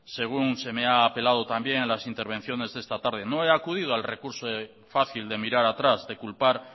según se me ha apelado también en las intervenciones de esta tarde no he acudido al recurso fácil de mirar atrás de culpar